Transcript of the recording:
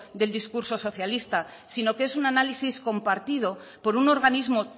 del discurso socialista sino que es un análisis compartido por un organismo